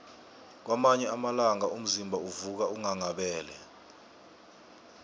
kwamanye amalanga umzimba uvuka unghanghabele